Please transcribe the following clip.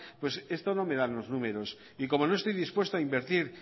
pues esto no me dan los números y como no estoy dispuesto a invertir